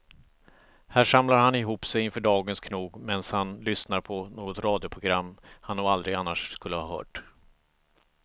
Här samlar han ihop sig inför dagens knog medan han lyssnar på något radioprogram han nog aldrig annars skulle ha hört.